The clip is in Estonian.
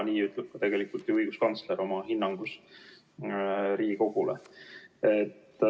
Nii ütleb ka õiguskantsler oma hinnangus Riigikogule.